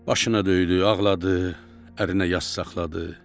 Başına döydü, ağladı, ərinə yas saxladı.